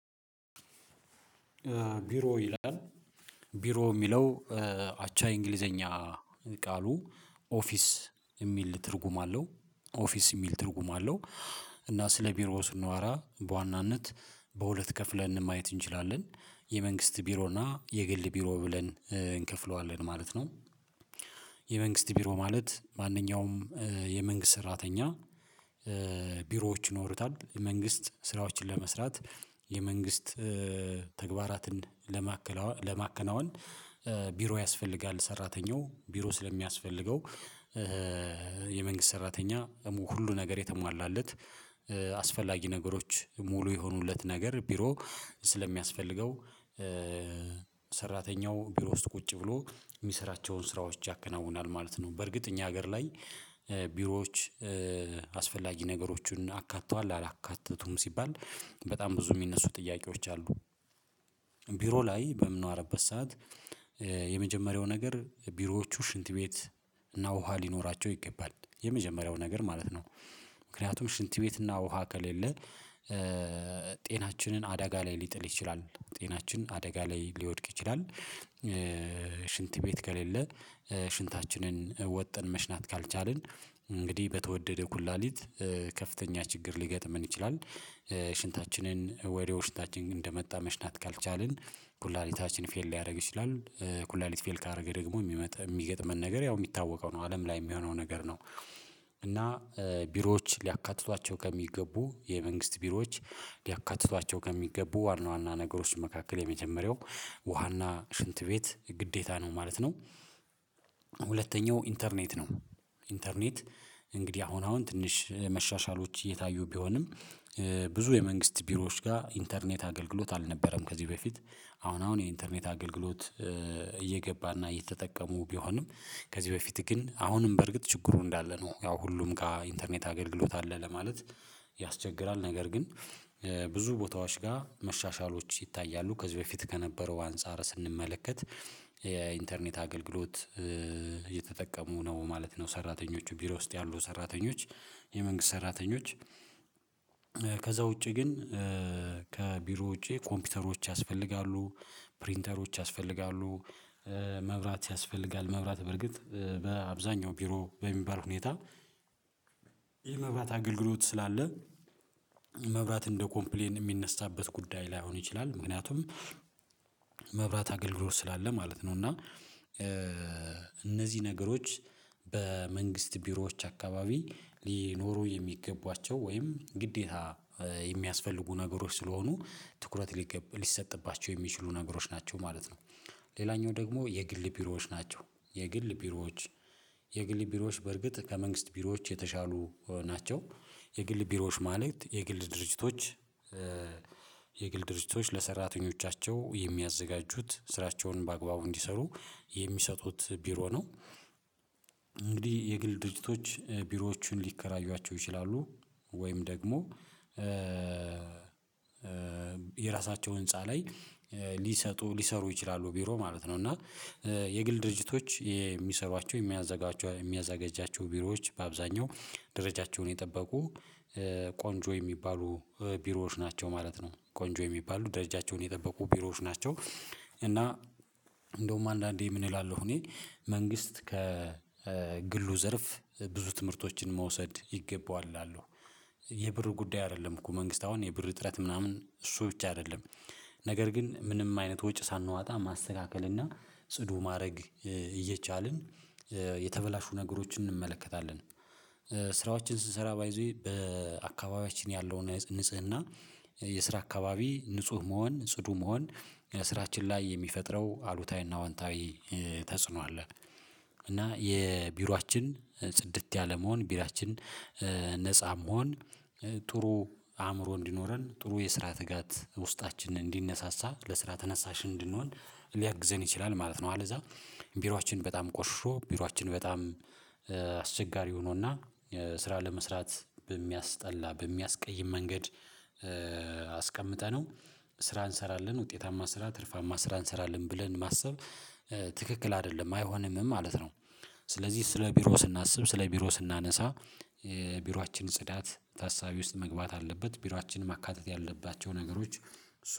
ቢሮ ይላል ቢሮ የሚለው አቻ የእንግሊዘኛ ቃሉ ኦፊስ የሚል ትርጉም አለው ኦፊስ የሚል ትርጉም አለው። እና ስለ ቢሮ ስንዋራ በዋናነት በሁለት ከፍለን ማየት እንችላለን የመንግስት ቢሮ እና የግል ቢሮ ብለን እንከፍለዋለን ማለት ነው። የመንግስት ቢሮ ማለት ማንኛውም የመንግስት ሰራተኛ ቢሮዎች ይኖሩታል የመንግስት ስራዎችን ለመስራት የመንግስት ተግባራትን ለማከናወን ቢሮ ያስፈልጋል። ሰራተኛው ቢሮ ስለሚያስፈልገው የመንግስት ሰራተኛ ደግሞ ሁሉ ነገር የተሟላለት አስፈላጊ ነገሮች ሙሉ የሆኑለት ነገር ቢሮ ስለሚያስፈልገው ሰራተኛው ቢሮ ውስጥ ቁጭ ብሎ የሚሰራቸውን ስራዎች ያከናውናል ማለት ነው። በርግጥ እኛ ሀገር ላይ ቢሮዎች አስፈላጊ ነገሮችን አካተዋል አላካተቱም ሲባል በጣም ብዙ የሚነሱ ጥያቄዎች አሉ። ቢሮ ላይ በምኖንኖርበት ሰዓት የመጀመሪያው ነገር ቢሮዎቹ ሽንት ቤት እና ውሃ ሊኖራቸው ይገባል፤ የመጀመሪያው ነገር ማለት ነው ምክንያቱም ሽንት ቤት እና ውሃ ከሌለ ጤናችንን አደጋ ላይ ሊጥል ይችላል፤ ጤናችን አደጋ ላይ ሊወድቅ ይችላል። ሽንት ቤት ከሌለ ሽንታችንን ወጥን መሽናት ካልቻልን እንግዲህ በተወደደው ኩላሊት ከፍተኛ ችግር ሊገጥመን ይችላል፤። ሽንታችንን ወዲያው ሽንታችን እንደመጣ መሽናት ካልቻልን ኩላሊታችን ፌል ሊያደርግ ይችላል፤። ኩላሊት ፌል ካደረገ ደግሞ የሚገጥመን ነገር ያው የሚታወቀው ነው አለም ላይ የሚሆነው ነገር ነው። እና ቢሮዎች ሊያካትቷቸው ከሚገቡ የመንግስት ቢሮዎች ሊያካትቷቸው ከሚገቡ ዋና ዋና ነገሮች መካከል የመጀመሪያው ውሃና ሽንት ቤት ግዴታ ነው ማለት ነው። ሁለተኛው ኢንተርኔት ነው ኢንተርኔት እንግዲህ አሁን አሁን ትንሽ መሻሻሎች እየታዩ ቢሆንም ብዙ የመንግስት ቢሮዎች ጋር ኢንተርኔት አገልግሎት አልነበረም። ከዚህ በፊት አሁን አሁን የኢንተርኔት አገልግሎት እየገባና እየተጠቀሙ ቢሆንም ከዚህ በፊት ግን አሁንም በርግጥ ችግሩ እንዳለ ነው ያው ሁሉም ጋር ኢንተርኔት አገልግሎት አለ ለማለት ያስቸግራል ነገር ግን። ብዙ ቦታዎች ጋር መሻሻሎች ይታያሉ ከዚህ በፊት ከነበረው አንፃር ስንመለከት የኢንተርኔት አገልግሎት እየተጠቀሙ ነው ማለት ነው። ሰራተኞቹ ቢሮ ውስጥ ያሉ ሰራተኞች የመንግስት ሰራተኞች ከዛ ውጪ ግን ከቢሮ ውጪ ኮምፒውተሮች ያስፈልጋሉ፤ ፕሪንተሮች ያስፈልጋሉ። መብራት ያስፈልጋል መብራት በርግጥ በአብዛኛው ቢሮ በሚባል ሁኔታ የመብራት አገልግሎት ስላለ መብራት እንደ ኮምፕሌን የሚነሳበት ጉዳይ ላይሆን ይችላል ምክንያቱም መብራት አገልግሎት ስላለ ማለት ነው። እና እነዚህ ነገሮች በመንግስት ቢሮዎች አካባቢ ሊኖሩ የሚገቧቸው ወይም ግዴታ የሚያስፈልጉ ነገሮች ስለሆኑ ትኩረት ሊሰጥባቸው የሚችሉ ነገሮች ናቸው ማለት ነው። ሌላኛው ደግሞ የግል ቢሮዎች ናቸው። የግል ቢሮዎች የግል ቢሮዎች በርግጥ ከመንግስት ቢሮዎች የተሻሉ ናቸው፤ የግል ቢሮዎች ማለት የግል ድርጅቶች የግል ድርጅቶች ለሰራተኞቻቸው የሚያዘጋጁት ስራቸውን በአግባቡ እንዲሰሩ የሚሰጡት ቢሮ ነው። እንግዲህ የግል ድርጅቶች ቢሮዎቹን ሊከራዩዋቸው ይችላሉ፤ ወይም ደግሞ የራሳቸው ህንፃ ላይ ሊሰጡ ሊሰሩ ይችላሉ ቢሮ ማለት ነው። እና የግል ድርጅቶች የሚሰሯቸው የሚያዘጋጃቸው የሚያዘጋጅባቸው ቢሮዎች በአብዛኛው ደረጃቸውን የጠበቁ ቆንጆ የሚባሉ ቢሮዎች ናቸው ማለት ነው፤። ቆንጆ የሚባሉ ደረጃቸውን የጠበቁ ቢሮዎች ናቸው። እና እንደውም አንዳንዴ ምን እላለሁ እኔ መንግስት ከግሉ ዘርፍ ብዙ ትምህርቶችን መውሰድ ይገባዋል እላለሁ። የብሩ ጉዳይ አይደለም እኮ መንግስት አሁን የብር እጥረት ምናምን እሱ ብቻ አይደለም ነገር ግን ምንም አይነት ወጭ ሳናዋጣ ማስተካከል እና ጽዱ ማድረግ እየቻልን የተበላሹ ነገሮችን እንመለከታለን። ስራዎችን ስንሰራ ባይ ዘ ዌይ በአካባቢያችን ያለውን ንጽህና የስራ አካባቢ ንጹህ መሆን ጽዱ መሆን ስራችን ላይ የሚፈጥረው አሉታዊና ወንታዊ ተጽዕኖ አለ። እና የቢሮአችን ጽድት ያለመሆን ቢሮአችን ነፃ መሆን ጥሩ አእምሮ እንዲኖረን ጥሩ የስራ ትጋት ውስጣችን እንዲነሳሳ ለስራ ተነሳሽ እንድንሆን ሊያግዘን ይችላል ማለት ነው። አለዛ ቢሮአችን በጣም ቆሽሾ ቢሮአችን በጣም አስቸጋሪ ሆኖና ስራ ለመስራት በሚያስጠላ በሚያስቀይም መንገድ አስቀምጠነው ስራ እንሰራለን ውጤታማ ስራ ትርፋማ ስራ እንሰራለን ብለን ማሰብ ትክክል አይደለም አይሆንምም ማለት ነው፤። ስለዚህ ስለ ቢሮ ስናስብ ስለ ቢሮ ስናነሳ ቢሯችን ጽዳት ታሳቢ ውስጥ መግባት አለበት ቢሮአችን ማካተት ያለባቸው ነገሮች